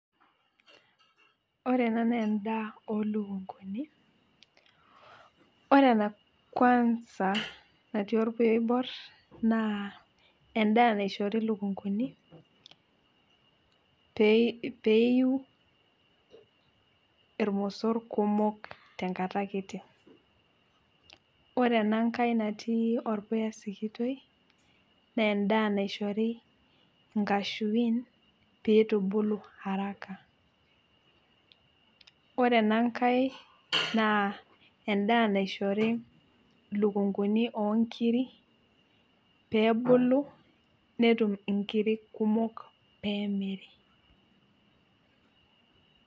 ore ena naa edaa oo lukunkuni, ore ena kuansa natii olpuya oibor naa edaa naishori ilukunkuni ppee eyiu ilmosor kumok te nkata kiti. ore ena nkae natii olpuya sikitoi, naa edaa naishori inkashuin pee itubulu haraka ore ena nkae naa edaa naishori ilukunkuni oo nkiri pee ebulu netum nkirik kumook pee emiri.